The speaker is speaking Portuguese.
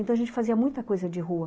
Então a gente fazia muita coisa de rua.